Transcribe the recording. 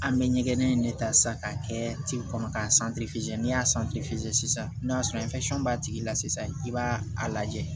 An bɛ ɲɛgɛn in de ta sisan k'a kɛ kɔnɔ k'a n'i y'a sisan n'a sɔrɔ b'a tigi la sisan i b'a a lajɛ